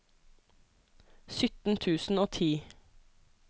sytten tusen og ti